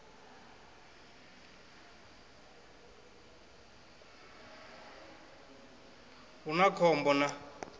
hu na khom bo na